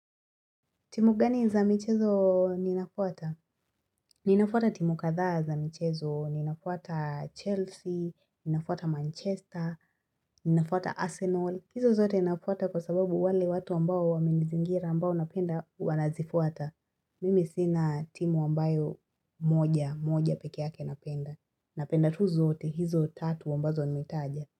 Timu gani za michezo ninafuata? Ninafuata timu katha za michezo, ninafuata Chelsea, ninafuata Manchester, ninafuata Arsenal. Hizo zote ninafuata kwa sababu wale watu ambao wamenizingira ambao napenda wanazifuata. Mimi sina timu ambayo moja, moja pekee yake napenda. Napenda tu zote hizo tatu ambazo nimetaja.